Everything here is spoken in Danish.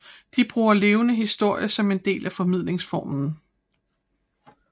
De bruger levende historie som en del af formidlingsformen